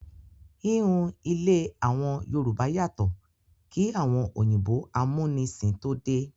Ìhun ilé àwọn Yorùbá yàtọ̀ kí àwọn òyìnbó amúnisìn tó dé.